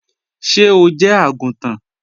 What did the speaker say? Ṣé ó jẹ́ agúntàn?